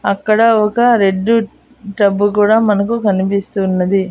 అక్కడ ఒక red tub కూడా మనకు కన్పిస్తున్నది.